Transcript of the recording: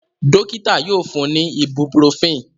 Dokita yoo fun mi ni ibuprofen.